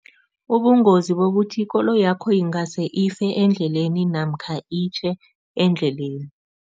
Ubungozi bokuthi ikoloyakho ingase ife endleleni namkha itjhe endleleni.